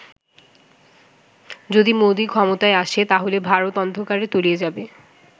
যদি মোদি ক্ষমতায় আসে, তাহলে ভারত অন্ধকারে তলিয়ে যাবে